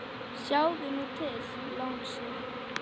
Sjáðu nú til, lagsi.